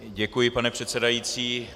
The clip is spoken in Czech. Děkuji, pane předsedající.